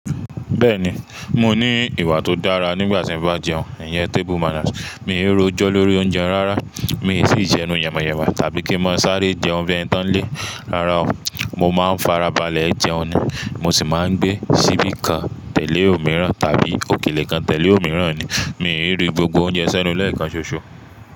Bẹ́ẹ̀ni, mo ní ìwà tó dára nígbà tí m'bá jẹun. Ìyẹn table manners. Mi ò rójó lórí oúnjẹ rárá, mi ò sì jẹun yẹ̀mẹyẹ̀mẹ tàbí kí n máa sáré jẹun bí ẹni tó ń lé, rara ọ̀. Mo máa ń farabalẹ̀ jẹun ni, mo sì máa ń gbé síbí kan tẹ̀lé òmíràn tàbí òkèlè kan tẹ̀lé òmíràn ni. Mi ò rí gbogbo oúnjẹ sẹ́nu lẹ́ẹ̀kan ṣoṣo.